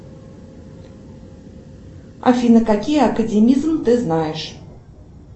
афина какие академизм ты знаешь